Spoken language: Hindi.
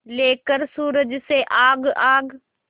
लेकर सूरज से आग आग